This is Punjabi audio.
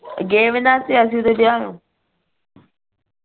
ਗਏ ਈ ਨਾ ਦੇ ਵਿਆਹ ਨੂੰ